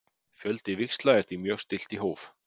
Fjölda víxla er því mjög stillt í hóf.